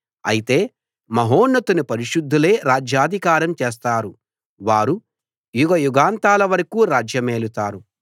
అయితే మహోన్నతుని పరిశుద్ధులే రాజ్యాధికారం చేస్తారు వారు యుగయుగాంతాల వరకూ రాజ్యమేలుతారు